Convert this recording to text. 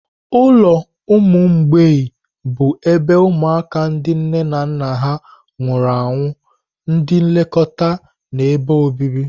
Ụlọ ụmụ mgbei bụ ebe ụmụaka ndị nne na nna ha nwụrụ anwụ, ndị nlekọta na ebe obibi.